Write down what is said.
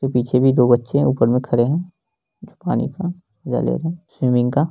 तो पीछे भी दो बच्चे है ऊपर मे खड़े है जो पानी का मजे ले रहे हैं स्विमिंग का।